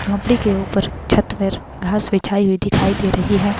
झोंपड़ी के ऊपर छत पर घास बिछाई हुई दिखाई दे रही है।